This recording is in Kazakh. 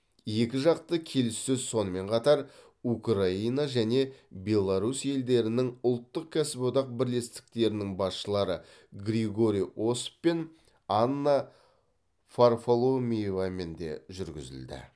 екіжақты келіссөз сонымен қатар украина және беларусь елдерінің ұлттық кәсіподақ бірлестіктерінің басшылары григорий осов пен анна варфоломеевамен де жүргізілді